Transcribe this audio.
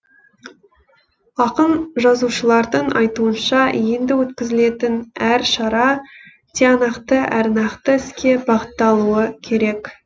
ақын жазушылардың айтуынша енді өткізілетін әр шара тиянақты әрі нақты іске бағытталуы керек